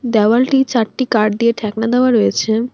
দেওয়ালটি চারটি কাঠ দিয়ে ঠেকনা দেওয়া রয়েছে।